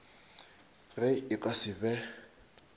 ge e ka se be